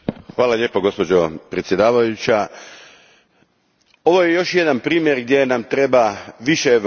Gospođo predsjednice, ovo je još jedan primjer gdje nam treba više Europe.